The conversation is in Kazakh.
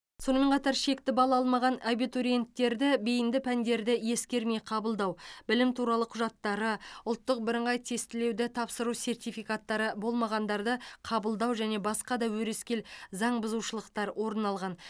сонымен қатар шекті балл алмаған абитуриенттерді бейінді пәндерді ескермей қабылдау білім туралы құжаттары ұлттық бірыңғай тестілеуді тапсыру сертификаттары болмағандарды қабылдау және басқа да өрескел заң бұзушылықтар орын алған